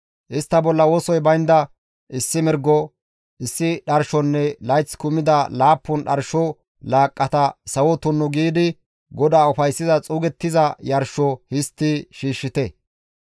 Istta bolla wosoy baynda issi mirgo, issi dharshonne layth kumida laappun dharsho laaqqata sawo tunnu giidi GODAA ufayssiza xuugettiza yarsho histti shiishshite.